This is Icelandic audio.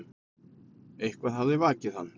Eitthvað hafði vakið hann.